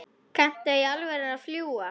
Kanntu í alvöru að fljúga?